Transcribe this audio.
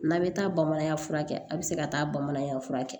N'a bɛ taa bamananya furakɛ a bɛ se ka taa bamanankan fura kɛ